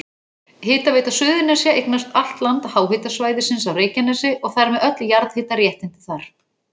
Hitaveita Suðurnesja eignast allt land háhitasvæðisins á Reykjanesi og þar með öll jarðhitaréttindi þar.